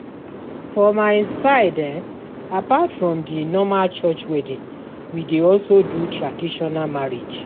For my side apart from the normal church wedding we dey also do traditional marriage